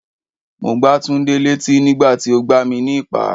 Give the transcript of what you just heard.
Mo gbá Túndé létí nígbà tí o gbà mi ní ìpá.